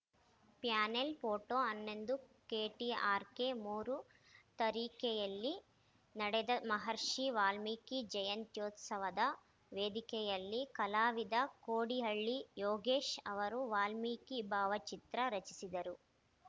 panel photo ಹನ್ನೊಂದು KTRK ಮೂರು ತರೀಕೆರೆಯಲ್ಲಿ ನಡೆದ ಮಹರ್ಷಿ ವಾಲ್ಮೀಕಿ ಜಯಂತ್ಯುತ್ಸವದ ವೇದಿಕೆಯಲ್ಲಿ ಕಲಾವಿದ ಕೋಡಿಹಳ್ಳಿ ಯೋಗೀಶ್‌ ಅವರು ವಾಲ್ಮೀಕಿ ಭಾವಚಿತ್ರ ರಚಿಸಿದರು